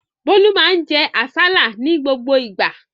Bólú máa ń jẹ àsálà ní gbogbo ìgbà